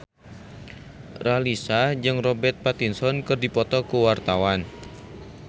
Raline Shah jeung Robert Pattinson keur dipoto ku wartawan